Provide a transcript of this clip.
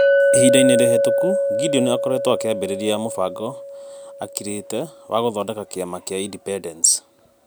Ihinda-inĩ rĩhĩtũku, Gideon akoretwo akĩambĩrĩria mũbango akirĩtĩ wa gũthondeka kĩama kĩa Independence.